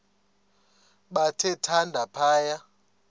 bathe thande phaya